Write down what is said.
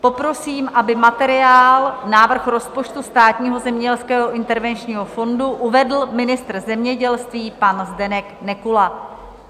Poprosím, aby materiál, návrh rozpočtu Státního zemědělského intervenčního fondu, uvedl ministr zemědělství pan Zdeněk Nekula.